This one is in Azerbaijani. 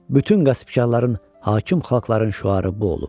Bütün qəsbkarların, hakim xalqların şüarı bu olub.